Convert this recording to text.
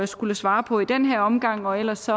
skulle svare på i den her omgang og ellers